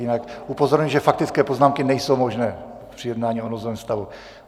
Jinak upozorňuji, že faktické poznámky nejsou možné při jednání o nouzovém stavu.